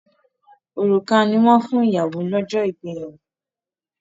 Òrùka ni wọ́n fún ìyàwó lọ́jọ́ ìgbéyàwó.